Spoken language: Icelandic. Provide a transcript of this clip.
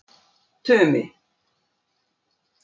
Tumi